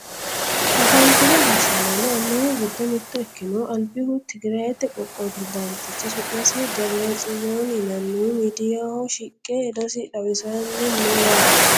afantino gashshaanonna annuwu giddo mitto ikkinohu albihu tigirayiite qoqqowi perezidaantichi su'masi debire tsiyooni yinannihu miidiyaaho shiqe hedosi xawisanni no yaate